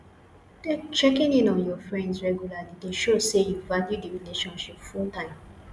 checking in on your friends regularly de show say you value the relationship full time